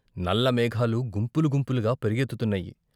నల్ల మేఘాలు గుంపులు గుంపులుగా పరుగెత్తుతున్నాయి.